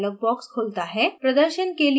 chemical name dialog box खुलता है